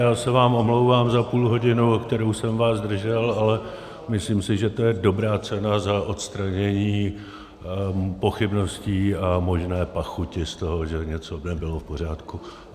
Já se vám omlouvám za půlhodinu, o kterou jsem vás zdržel, ale myslím si, že to je dobrá cena za odstranění pochybností a možné pachuti z toho, že něco nebylo v pořádku.